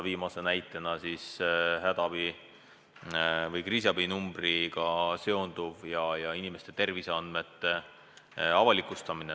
Viimane näide on hädaabi- või kriisiabinumbriga seonduv ja inimeste terviseandmete avalikustamine.